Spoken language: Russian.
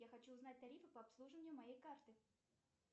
я хочу узнать тарифы по обслуживанию моей карты